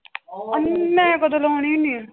ਮੈਂ ਕਦੋਂ ਲਾਉਂਦੀ ਹੁੰਦੀ ਹਾਂ।